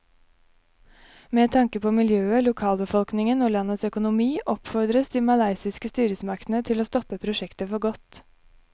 Med tanke på miljøet, lokalbefolkningen og landets økonomi oppfordres de malaysiske styresmaktene til å stoppe prosjektet for godt.